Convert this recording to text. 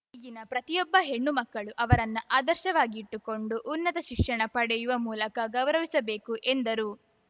ಈಗಿನ ಪ್ರತಿಯೊಬ್ಬ ಹೆಣ್ಣು ಮಕ್ಕಳು ಅವರನ್ನ ಆದರ್ಶವಾಗಿಟ್ಟುಕೊಂಡು ಉನ್ನತ ಶಿಕ್ಷಣ ಪಡೆಯುವ ಮೂಲಕ ಗೌರವಿಸಬೇಕು ಎಂದರು